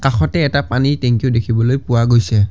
কাষতে এটা পানীৰ টেংকিও দেখিবলৈ পোৱা গৈছে।